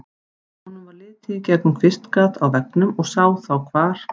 Honum varð litið í gegnum kvistgat á veggnum og sá þá hvar